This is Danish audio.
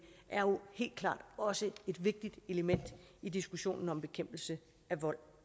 er jo helt klart også et vigtigt element i diskussionen om bekæmpelse af vold